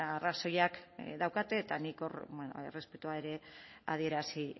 arrazoiak daukate eta nik hor errespetua ere adierazi